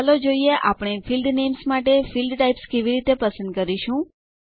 ચાલો જોઈએ આપણે ફિલ્ડ નેમ્સ માટે ફિલ્ડ ટાઇપ્સ કેવી રીતે પસંદ કરીશું